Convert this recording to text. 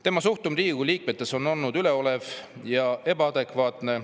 Tema suhtumine Riigikogu liikmetesse on olnud üleolev ja ebaadekvaatne.